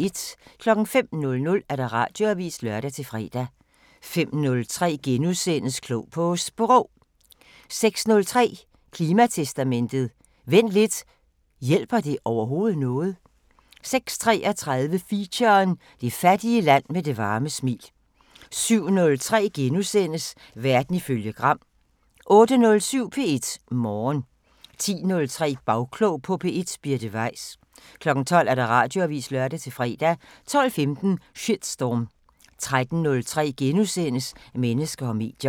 05:00: Radioavisen (lør-fre) 05:03: Klog på Sprog * 06:03: Klimatestamentet: Vent lidt – hjælper det overhovedet noget? 06:33: Feature: Det fattige land med det varme smil 07:03: Verden ifølge Gram * 08:07: P1 Morgen 10:03: Bagklog på P1: Birte Weiss 12:00: Radioavisen (lør-fre) 12:15: Shitstorm 13:03: Mennesker og medier *